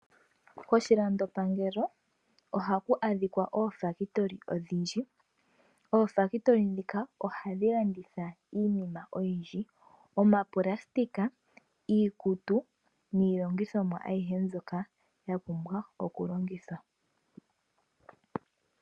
Koshilandopangelo ohaku adhikwa oofakitoli odhindji ofakitoli dhika ohadhi landitha iinima oyindji omaplastika, iikutu nilongithomwa ahiye mbyoka yapumbwa oku longithwa.